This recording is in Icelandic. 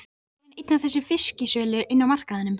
Kannski er hann einn af þessum fisksölum inni á markaðnum.